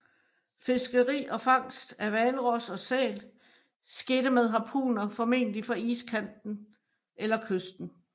Fiskeri og fangst af hvalros og sæl skete med harpuner formentlig fra iskanten eller kysten